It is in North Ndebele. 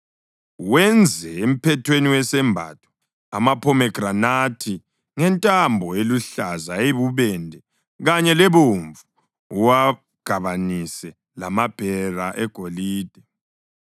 Wenze emphethweni wesembatho amaphomegranathi ngentambo eluhlaza, eyibubende kanye lebomvu, uwugabanise lamabhera egolide.